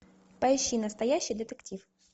поищи настоящий детектив